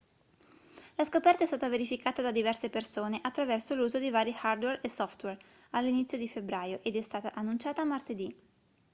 la scoperta è stata verificata da diverse persone attraverso l'uso di vari hardware e software all'inizio di febbraio ed è stata annunciata martedì